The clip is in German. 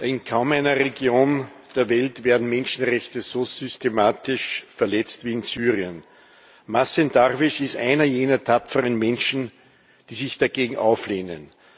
In kaum einer Region der Welt werden Menschenrechte so systematisch verletzt wie in Syrien. Mazen Darwish ist einer jener tapferen Menschen, die sich dagegen auflehnen.